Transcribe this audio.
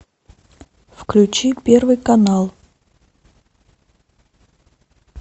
включи первый канал